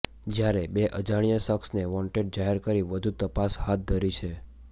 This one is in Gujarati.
જ્યારે બે અજાણ્યા શખ્સને વોન્ટેડ જાહેર કરી વધુ તપાસ હાથ ધરી છે